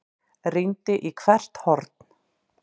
Rýndi í hvert horn.